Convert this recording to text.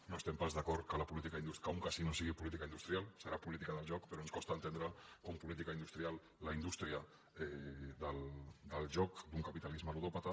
no estem pas d’acord que un ca·sino sigui política industrial serà política del joc però ens costa entendre com a política industrial la indús·tria del joc d’un capitalisme ludòpata